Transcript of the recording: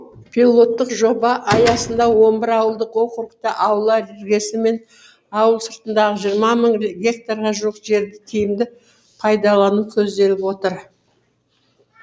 пилоттық жоба аясында он бір ауылдық округте аула іргесі мен ауыл сыртындағы жиырма мың гектарға жуық жерді тиімді пайдалану көзделіп отыр